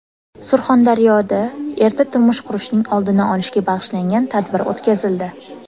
Surxondaryoda erta turmush qurishning oldini olishga bag‘ishlangan tadbir o‘tkazildi.